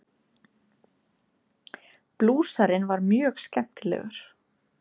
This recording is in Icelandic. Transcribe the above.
Blúsarinn var mjög skemmtilegur.